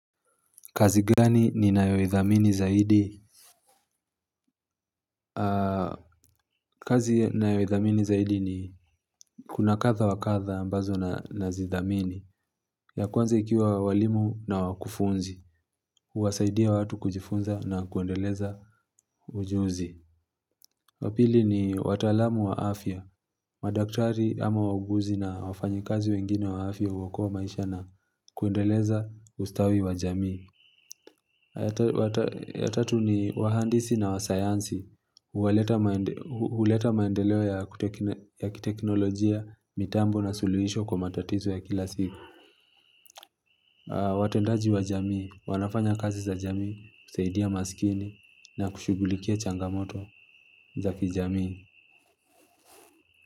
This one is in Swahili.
Kazi gani ninayoidhamini zaidi? Kazi nayodhamini zaidi ni kuna kadha wa kadha ambazo nazidhamini. Ya kwanza ikiwa walimu na wakufunzi. Huwasaidia watu kujifunza na kuendeleza ujuzi. Wa pili ni wataalamu wa afya. Madaktari ama wauguzi na wafanyikazi wengine wa afya hukoa maisha na kuendeleza ustawi wa jamii. Ya tatu ni wahandisi na wasayansi. Huleta maendeleo ya kiteknolojia, mitambo na suluhisho kwa matatizo ya kila siku. Watendaji wa jamii, wanafanya kazi za jamii, kusaidia masikini na kushughulikia changamoto za kijamii.